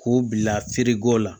K'u bila feereko la